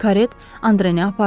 Karet Andreni apardı.